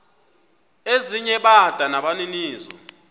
ezinye bada nabaninizo